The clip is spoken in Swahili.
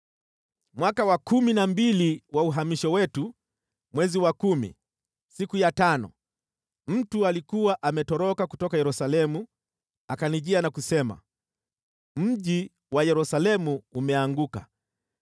Mwaka wa kumi na mbili wa uhamisho wetu, mwezi wa kumi, siku ya tano, mtu aliyekuwa ametoroka kutoka Yerusalemu akanijia na kusema, “Mji wa Yerusalemu umeanguka!”